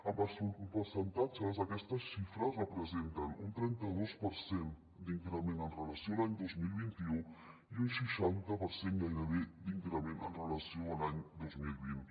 en percentatges aquestes xi·fres representen un trenta·dos per cent d’increment amb relació a l’any dos mil vint u i un sei·xanta per cent gairebé d’increment amb relació a l’any dos mil vint